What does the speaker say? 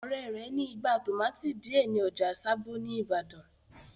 Ọ̀rẹ́ rẹ̀ ní igbá tòmátì díẹ̀ ní ọjà sábó ní ìbàdàn.